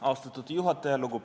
Austatud juhataja!